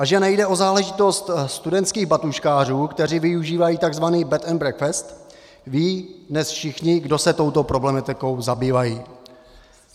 A že nejde o záležitost studentských batůžkářů, kteří využívají tzv. bed and breakfast, vědí dnes všichni, kdo se touto problematikou zabývají.